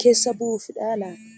keessa buu'uufidha laata?